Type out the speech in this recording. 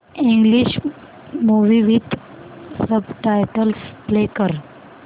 English movie with subtitles play कर